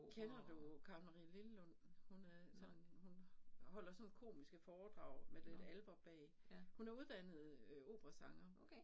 Kender du Karen-Marie Lillelund hun øh sådan hun holder sådan komiske foredrag med lidt alper bag. Hun er uddannet øh operasanger